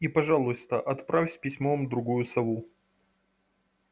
и пожалуйста отправь с письмом другую сову